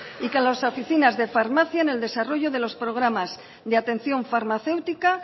y con las oficinas de farmacia en el desarrollo de los programas de atención farmacéutica